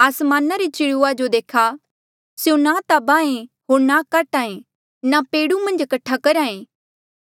आसमाना रे चिड़ुआ जो देखा स्यों ना ता बाहें होर ना काट्हा ऐें होर ना पेड़ु मन्झ कठा करहा ऐें